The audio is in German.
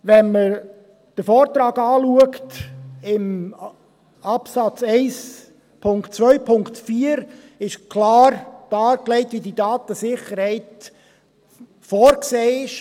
Wenn man den Vortrag anschaut, ist im Absatz 1.2.4 klar dargelegt, wie diese Datensicherheit vorgesehen ist.